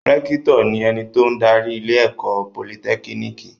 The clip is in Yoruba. Rẹ́kítọ̀ ni ẹni tó ń darí ilé-ẹ̀kọ́ Politẹ́kínìkì.